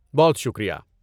بہت شکریہ!